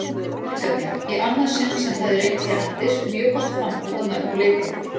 verkefni, í annað sinn sem það er reynt hérlendis, mjög gott framtak að mörgu leyti.